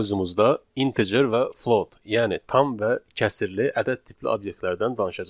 Bu mövzumuzda integer və float, yəni tam və kəsrli ədəd tipli obyektlərdən danışacağıq.